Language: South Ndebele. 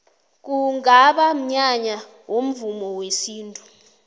kungaba mnyanya womvumo wesintu